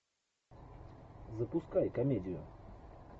запускай комедию